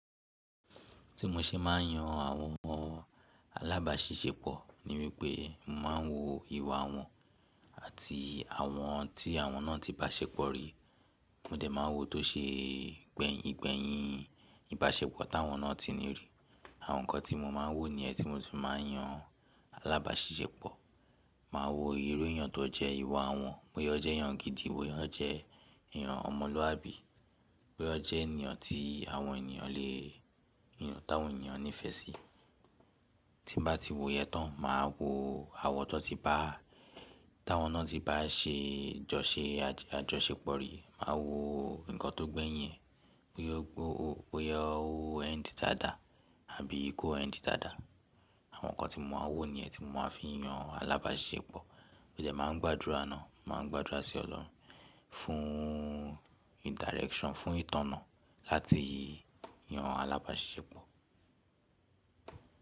Tí mo ṣe máà ń yan àwọn alágbàṣiṣẹ́pọ̀ níwípé mo máa ń wo ìwà wọ́n àti àwọn tí àwọn náà ti bá ṣépọ̀ rí. Mo dẹ̀ máa wo tó ṣe igbẹ̀yìn ìbáṣepọ̀ tí àwọn náà ti ní rí. Àwọn nǹkan tí mo máa ń wò ní yen, tí mo si fi máa ń yan alágbàṣiṣẹ́pọ̀. Máa wo irú èèyàn tó jẹ́ ìwà wọn, bóyá ó jẹ́ èèyàn gidi, bóyá ó jẹ́ èèyàn ọmọlúàbí, bóyá ó jẹ́ ènìyàn tí àwọn ènìyàn lè yàn, táwọn ènìyàn nífẹ̀ẹ́ sí. Tí bà tí wo yẹn tán, màá wo àwọ̀ tó ti bá, táwọn náà ti bá ṣe àjọṣepọ̀ rí. Màá wo nǹkan tó gbéyin e, bóyá ó end dáadáa àbí kò end dáadáa. Àwọn nǹkan tí mo máa ń wò níẹ̀ tí mo máa fi ń yan alágbàṣiṣẹ́pọ̀. Mo dẹ̀ máa ń gbàdúrà náà, màá gbàdúrà sí ọlọ́run fún direction, fún ìtọ́nà láti yan alágbàṣiṣẹ́pọ̀.